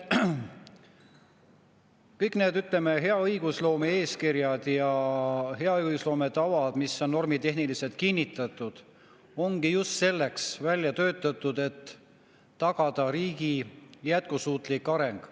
Kõik need, ütleme, hea õigusloome eeskirjad ja hea õigusloome tavad, mis on normitehniliselt kinnitatud, ongi just selleks välja töötatud, et tagada riigi jätkusuutlik areng.